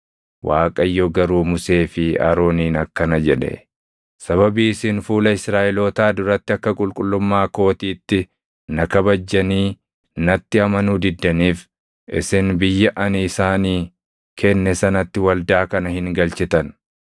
Waaqayyo garuu Musee fi Arooniin akkana jedhe; “Sababii isin fuula Israaʼelootaa duratti akka qulqullummaa kootiitti na kabajjanii natti amanuu diddaniif, isin biyya ani isaanii kenne sanatti waldaa kana hin galchitan.”